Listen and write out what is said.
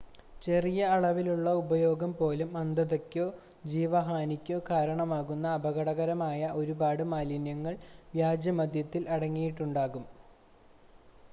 ചെറിയ അളവിലുള്ള ഉപയോഗം പോലും അന്ധതയ്ക്കോ ജീവഹാനിക്കോ കാരണമാകുന്ന അപകടകരമായ ഒരുപാട് മാലിന്യങ്ങൾ വ്യാജമദ്യത്തിൽ അടങ്ങിയിട്ടുണ്ടാകാം